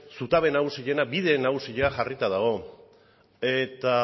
zutabe nagusiena bide nagusia jarrita dago eta